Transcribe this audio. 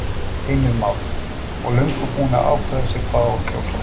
Heimir Már: Og löngu búin að ákveða sig hvað á að kjósa?